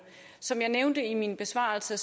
som jeg nævnte i min besvarelse